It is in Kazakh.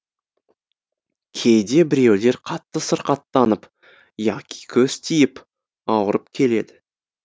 кейде біреулер қатты сырқаттанып яки көз тиіп ауырып келеді